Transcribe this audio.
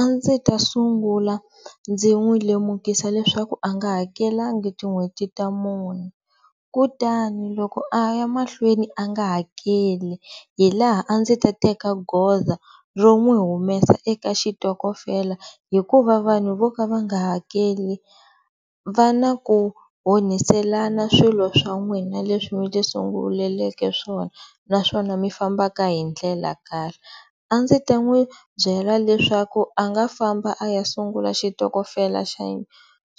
A ndzi ta sungula ndzi n'wi lemukisa leswaku a nga hakelanga tin'hweti ta mune kutani loko a ya mahlweni a nga hakeli hi laha a ndzi ta teka goza ro n'wi humesa eka xitokofela hikuva vanhu vo ka va nga hakeli va na ku onhiselana swilo swa n'wina leswi mi ti sunguleleke swona naswona mi fambaka hi ndlela karhi a ndzi ta n'wi byela leswaku a nga famba a ya sungula xitokofela